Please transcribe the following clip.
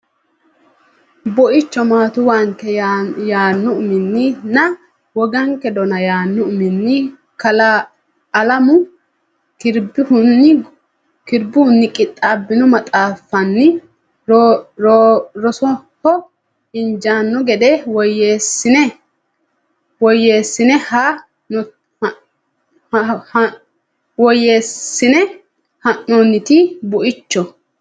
Buicho Maattuwanke yaanno uminni nna Woganke Dona yaanno uminni Kalaa Alamu Kirbihunni qixxaabbino maxaaffanni rosoho injaanno gede woyyeessine haa noonnite Buicho.